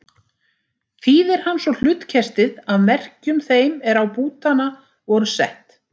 Þýðir hann svo hlutkestið af merkjum þeim er á bútana voru sett.